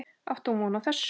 Átti hún von á þessu?